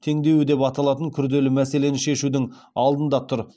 теңдеуі деп аталатын күрделі мәселені шешудің алдында тұр